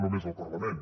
no només al parlament